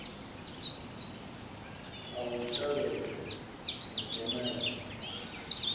a u shavhedza na tshomedzo